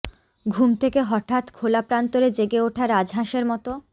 ঘুম থেকে হঠাৎ খোলা প্রান্তরে জেগে ওঠা রাজহাঁসের মতো